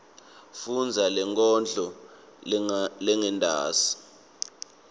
fundza lenkondlo lengentasi